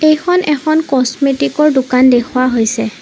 এইখন এখন ক'ষ্টমেটিকৰ দোকান দেখুওৱা হৈছে।